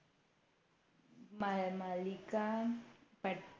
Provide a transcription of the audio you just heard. माळ मालिका पट